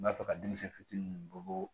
N b'a fɛ ka denmisɛn fitinin min bolo